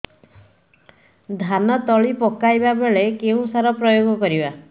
ଧାନ ତଳି ପକାଇବା ବେଳେ କେଉଁ ସାର ପ୍ରୟୋଗ କରିବା